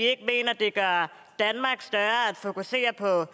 gør at fokusere på